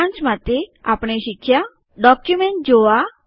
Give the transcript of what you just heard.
સારાંશ માટે આપણે શીખ્યા ડોક્યુમેન્ટ જોવા